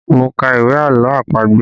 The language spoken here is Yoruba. Mo ka ìwé àlọ́ àpagbè